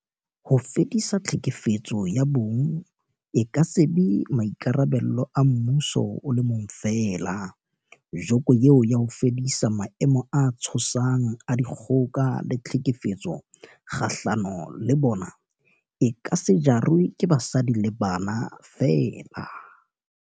Ho fedisa tlhekefetso ya bong e ka se be maikarabelo a mmuso o le mong feela, joko eo ya ho fedisa maemo a tshosang a dikgoka le tlhekefetso kgahlano le bona, e ka se jarwe ke basadi le bana feela.